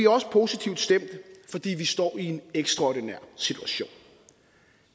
også positivt stemt fordi vi står i en ekstraordinær situation